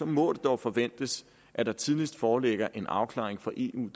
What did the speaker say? må det dog forventes at der tidligst foreligger en afklaring fra eu